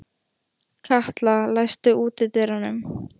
Katla, læstu útidyrunum.